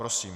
Prosím.